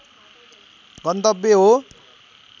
गन्तब्य हो